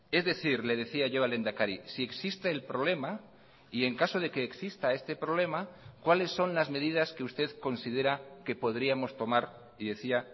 es decir le decía yo al lehendakari si existe el problema y en caso de que exista este problema cuáles son las medidas que usted considera que podríamos tomar y decía